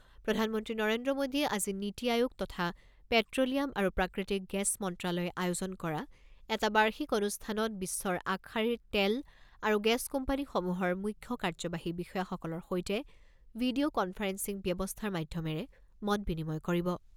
প্ৰধানমন্ত্ৰী নৰেন্দ্ৰ মোডীয়ে আজি নীতি আয়োগ তথা পেট্ৰ'লিয়াম আৰু প্ৰাকৃতিক গেছ মন্ত্ৰালয়ে আয়োজন কৰা এটা বাৰ্ষিক অনুষ্ঠানত বিশ্বৰ আগশাৰীৰ তেল আৰু গেছ কোম্পানীসমূহৰ মুখ্য কাৰ্যবাহী বিষয়াসকলৰ সৈতে ভিডিঅ ' কনফাৰেন্সিং ব্যৱস্থাৰ মাধ্যমেৰে মত বিনিময় কৰিব।